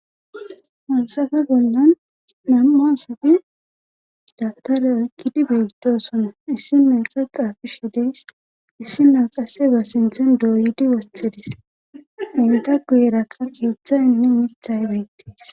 Monsefe bollan nam'a asati dabtare oykkidi beetosona issi noyka xaafishe dees issi na qasse ba sinthen dooyidi woththidis enta guyeraka keeththay mi milthay beettees.